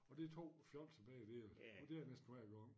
Og det 2 fjolser begge dele og det er det næsten hver gang